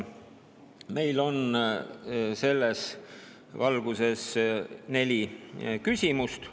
Meil on selles valguses neli küsimust.